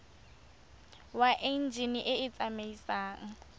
wa enjine e e tsamaisang